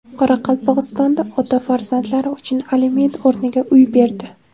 Qoraqalpog‘istonda ota farzandlari uchun aliment o‘rniga uy berdi.